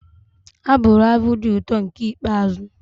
Ha bụru abụ dị ụtọ nke ikpeazụ